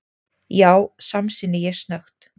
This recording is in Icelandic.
Já, samsinni ég snöggt.